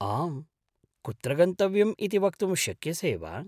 आम्, कुत्र गन्तव्यम् इति वक्तुं शक्यसे वा?